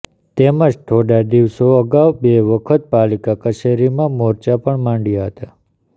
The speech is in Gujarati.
તેમજ થોડા દિવસો અગાઉ બે વખત પાલિકા કચેરીમાં મોરચા પણ માંડ્યા હતા